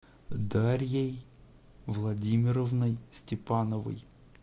дарьей владимировной степановой